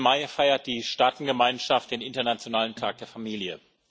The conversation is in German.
15. Mai feiert die Staatengemeinschaft den Internationalen Tag der Familie.